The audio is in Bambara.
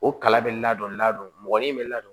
O kala bɛ ladon ladon mɔgɔnin min bɛ ladon